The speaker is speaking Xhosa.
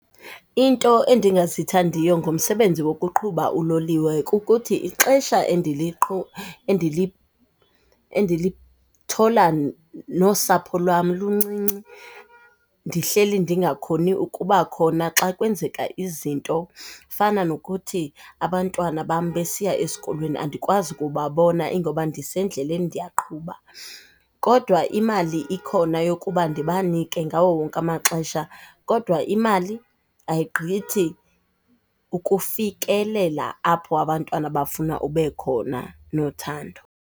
Into endingazithandiyo ngomsebenzi wokuqhuba uloliwe kukuthi ixesha endilithola nosapho lwam luncinci, ndihleli ndingakhoni ukuba khona xa kwenzeka izinto. Fana nokuthi abantwana bam besiya esikolweni, andikwazi ukubabona ingoba ndisendlelni ndiyaqhuba, kodwa imali ikhona yokuba ndibanike ngawo wonke amaxesha. Kodwa imali ayigqithi ukufikelela apho abantwana bafuna ube khona nothando.